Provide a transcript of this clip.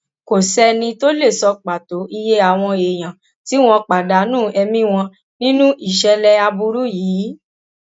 kò sẹni tó lè sọ pàtó iye àwọn èèyàn tí wọn pàdánù ẹmí wọn nínú ìṣẹlẹ aburú yìí